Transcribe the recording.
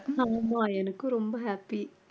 ஆமாம் எனக்கு ரொம்ப happy